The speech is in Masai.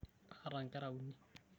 Kaata nkera uni.